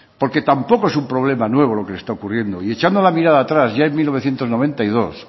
porque tampoco es un problema nuevo lo que le está ocurriendo y echando la mirada atrás ya en mil novecientos noventa y dos